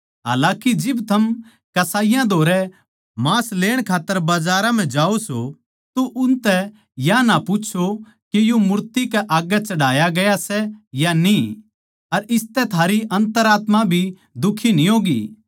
हालाकि जिब थम कस्साइयाँ धोरै मांस लेण खात्तर बजारां जाओ सों तो उनतै या ना पूच्छो के यो मूर्तियाँ कै आग्गै चढ़ाया गया सै या न्ही अर इसतै थारी अन्तरात्मा भी दुखी न्ही होगी